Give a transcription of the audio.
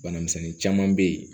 Bana misɛnnin caman be yen